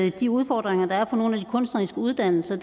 af de udfordringer der er på nogle af de kunstneriske uddannelser